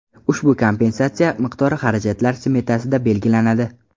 Ushbu kompensatsiya miqdori xarajatlar smetasida belgilanadi.